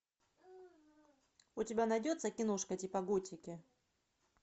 у тебя найдется киношка типа готики